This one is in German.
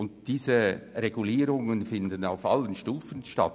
Die Regulierungen finden auf allen Stufen statt.